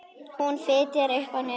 Hún fitjar upp á nefið.